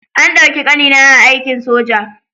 An ɗauki ƙanina a aikin soja.